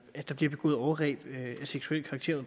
at der bliver begået overgreb af seksuel karakter